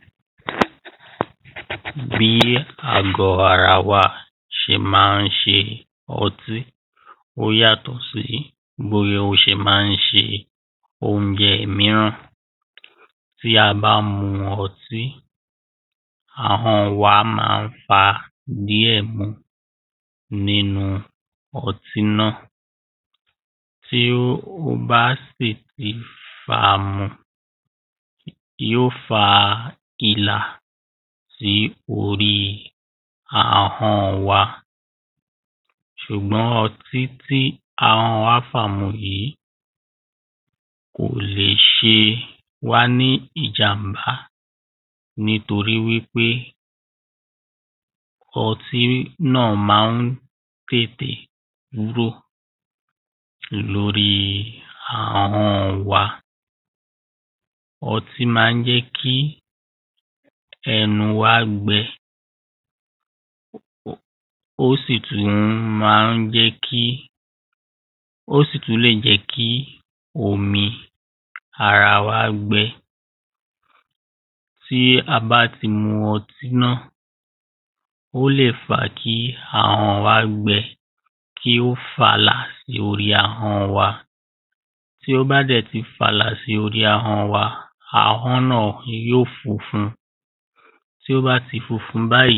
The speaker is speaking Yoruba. bí àgọ ara wa ṣe má ń ṣe ọtí ó yàtọ̀ sí bí o ṣe má ń ṣe oúnjẹ mìíràn tí a bá mu ọtí ahọ́n wa má ń fa díẹ̀ mu nínu ọtí náà tí ó ba sí ti fàá mu yó fa ìlà sí orí ahón wa sùgbọ́n ọtí tí ahọ́n wa fà mu yìí kò le ṣe wá ní ìjàm̀bá nítoríwípé ọtí náà má ń tètè kúrò lórí ahọ́n wa ọtí má ń jẹ́ kí ẹnu wa gbẹ ó sì tún má ń jẹ́ kí tí a bá ti mu ọtí náà ó sì tún lè jẹ́ kí omi ara wa gbẹ ó lè fa kí ahọ́n wa gbẹ kí ó fàlà sí orí ahọn wa tí ó bá dẹ̀ ti fàlà sí orí ahọ́n wa ahọ́n náà yó funfun tí ó bá ti funfun báyìí